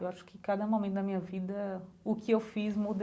Eu acho que cada momento da minha vida, o que eu fiz muda